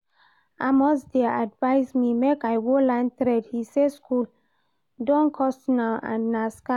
Amos dey advise me make I go learn trade, he say school don cost now and na scam